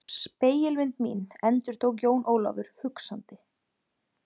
Spegilmynd mín endurtók Jón Ólafur hugsandi.